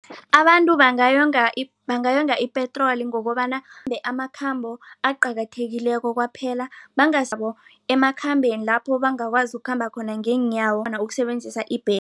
Abantu bangayo bangayonga ipetroli ngokobana bakhambe amakhambo aqakathekileko kwaphela emakhambeni lapho bangakwazi ukukhamba khona ngeenyawo ukusebenzisa